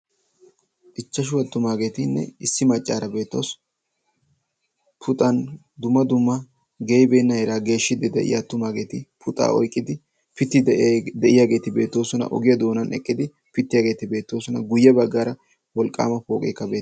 ichchashu aattumaageetinne issi maccaara beetoosona. puxan duma duma geyibeenna iqaa geeshshiddi de'iya attumaageeti puxaa oyqqidi pittidi deiiyaageeti beetoosona ogiya doonan eqqidi pittiyaageeti beetoosona guyye baggaara wolqqaama pooqeekka beetees.